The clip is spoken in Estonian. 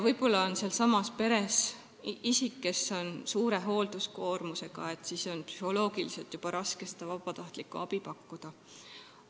Võib-olla on sealsamas peres isik, kes on suure hoolduskoormusega, siis on psühholoogiliselt raske seda vabatahtlikku abi pakkuda.